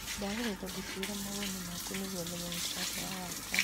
ndagũthaitha njĩkĩrĩra mawoni maku nĩguo menye mũtaratara wakwa